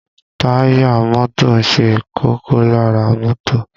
Táyà mọ́tò ṣe kókó lára mọ́tò